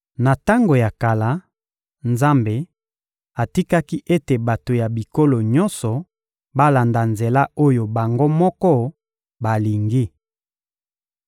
Na tango ya kala, Nzambe atikaki ete bato ya bikolo nyonso balanda nzela oyo bango moko balingi.